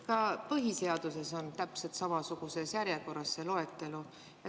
Ka põhiseaduses on täpselt samasuguses järjekorras see loetelu.